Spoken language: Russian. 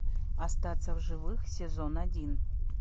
остаться в живых сезон один